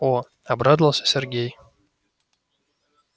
о обрадовался сергей